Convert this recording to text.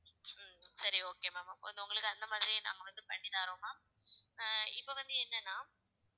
சரி okay ma'am உங்களுக்கு அந்த மாதிரி நாங்க வந்து பண்ணி தர்றோம் ma'am அஹ் இப்ப வந்து என்னன்னா